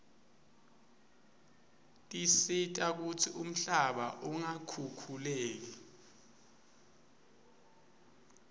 tisita kutsi umhlaba ungakhukhuleki